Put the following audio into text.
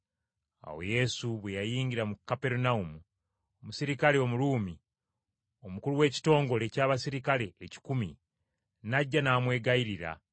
Awo Yesu bwe yayingira mu Kaperunawumu, omuserikale Omuruumi, omukulu w’ekitongole ky’abaserikale ekikumi, n’ajja n’amwegayirira,